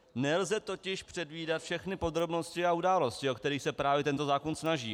Nelze totiž předvídat všechny podrobnosti a události, o které se právě tento zákon snaží.